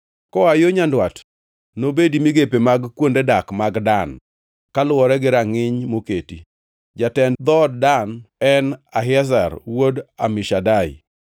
Koa yo nyandwat nobedi migepe mag kuonde dak mag Dan, kaluwore gi rangʼiny moketi. Jatend dhood Dan en Ahiezer wuod Amishadai.